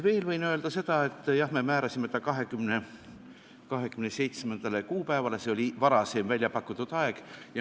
Veel võin öelda seda, et jah, me tegime ettepaneku panna eelnõu 27. kuupäeva istungi päevakorda, aga see oli varem välja pakutud aeg.